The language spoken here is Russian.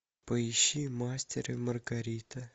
поищи мастер и маргарита